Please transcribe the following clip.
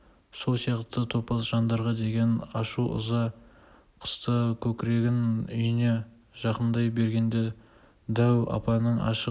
сол сияқты топас жандарға деген ашу-ыза қысты көкірегін үйіне жақындай бергенде дәу апаның ашық